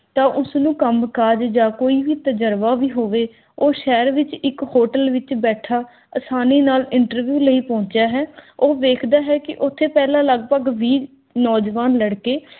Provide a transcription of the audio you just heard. ਤਾਂ ਉਸਨੂੰ ਕੰਮ ਕਰ ਜਾਂ ਕੋਈ ਵੀ ਤਜਰਬਾ ਵੀ ਹੋਵੇ, ਉਹ ਸ਼ਹਿਰ ਵਿਚ ਇੱਕ hotel ਵਿਚ ਬੈਠਾ ਆਸਾਨੀ ਨਾਲ interview ਲਈ ਪਹੁੰਚਿਆ ਹੈ। ਉਹ ਵੇਖਦਾ ਹੈ ਕੀ ਓਥੇ ਪਹਿਲਾਂ ਲਗਭਗ ਵੀਹ ਨੌਜਵਾਨ ਲਡ਼ਕੇ